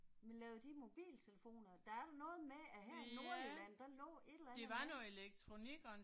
Men lavede de mobiltelefoner? Der er da noget med at her i Nordjylland, der lå et eller andet